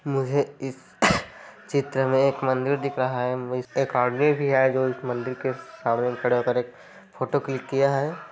मुझे इस चित्र में एक मंदिर दिख रहा है इसमें एक आदमी भी है जो इस मंदिर सामने खड़े होकर एक फोटो क्लिक किया है।